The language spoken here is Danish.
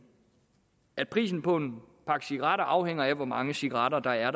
at prisen på en pakke cigaretter afhænger af hvor mange cigaretter der er